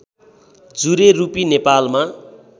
जुरे रूपी नेपालमा